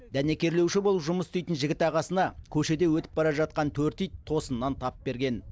дәнекерлеуші болып жұмыс істейтін жігіт ағасына көшеде өтіп бара жатқан төрт ит тосыннан тап берген